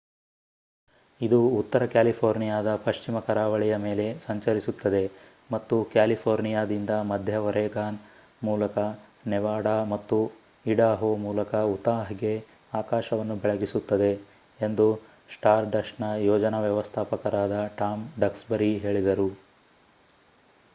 "ಇದು ಉತ್ತರ ಕ್ಯಾಲಿಫೋರ್ನಿಯಾದ ಪಶ್ಚಿಮ ಕರಾವಳಿಯ ಮೇಲೆ ಸಂಚರಿಸುತ್ತದೆ ಮತ್ತು ಕ್ಯಾಲಿಫೋರ್ನಿಯಾದಿಂದ ಮಧ್ಯ ಒರೆಗಾನ್ ಮೂಲಕ ನೆವಾಡಾ ಮತ್ತು ಇಡಾಹೊ ಮೂಲಕ ಉತಾಹ್‌ಗೆ ಆಕಾಶವನ್ನು ಬೆಳಗಿಸುತ್ತದೆ ಎಂದು ಸ್ಟಾರ್‌ಡಸ್ಟ್‌ನ ಯೋಜನಾ ವ್ಯವಸ್ಥಾಪಕರಾದ ಟಾಮ್ ಡಕ್ಸ್‌ಬರಿ ಹೇಳಿದರು